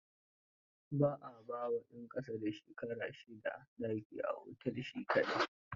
Ba a ba wa ɗan ƙasa da shekara sha shida daki a otel shi kaɗai.